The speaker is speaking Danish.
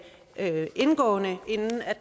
indgående inden